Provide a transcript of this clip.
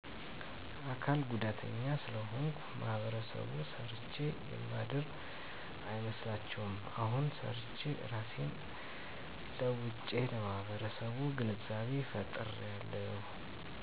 አካል ጉዳተኛ ስለሆንኩ ማህበረሰቡ ሰርቸ የማድር አይመስላቸዉም አሁን ሰርቸ እራሴን ለዉጨለማህበረሰቡ ግንዛቤ ፈጥራለሁ